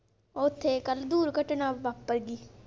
ਓਥੇ ਕੱਲ ਦੂਰ ਘਟਨਾ ਵਾਪਰਗੀ।